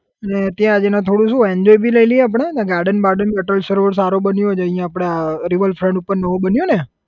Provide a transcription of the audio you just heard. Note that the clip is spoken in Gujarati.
અને ત્યાં જઈને થોડું શુ enjoy ભી લઇ લઈએ આપડે અને garden બાર્ડન અટલ સરોવર સારું બન્યું છે અહીંયા આપડે આ river front ઉપર નવું બન્યું ને